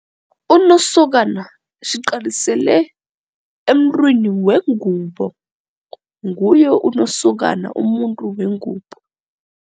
Unosokana siqalisele emntwini wengubo nguye unosokana umuntu wengubo.